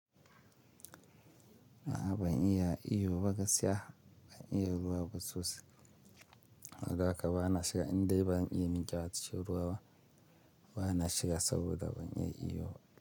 A'a ban iya iyo ba gaskiya, ban iya ruwa ba sosai. Haka ba na shiga inda ban iya ninkyace ruwa ba. Ba na shiga saboda ban iya iyo ba.